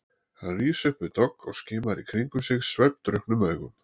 Hann rís upp við dogg og skimar í kringum sig svefndrukknum augum.